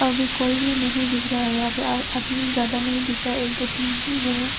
और भी कोई भी नहीं दिख रहा है यहां पे आदमी ज्यादा नहीं दिख रहा है एक दो तीन ही है।